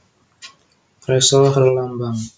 Ressa Herlambang